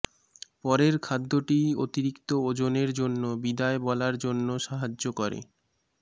পরের খাদ্যটি অতিরিক্ত ওজনের জন্য বিদায় বলার জন্য সাহায্য করে